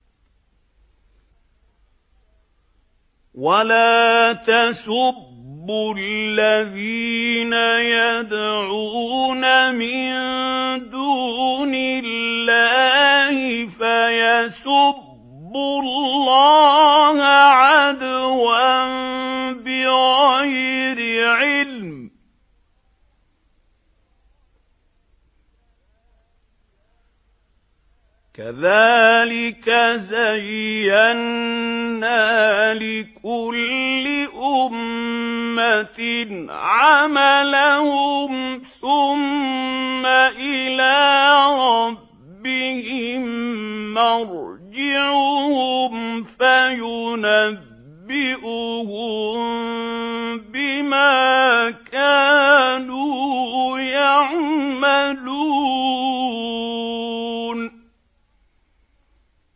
وَلَا تَسُبُّوا الَّذِينَ يَدْعُونَ مِن دُونِ اللَّهِ فَيَسُبُّوا اللَّهَ عَدْوًا بِغَيْرِ عِلْمٍ ۗ كَذَٰلِكَ زَيَّنَّا لِكُلِّ أُمَّةٍ عَمَلَهُمْ ثُمَّ إِلَىٰ رَبِّهِم مَّرْجِعُهُمْ فَيُنَبِّئُهُم بِمَا كَانُوا يَعْمَلُونَ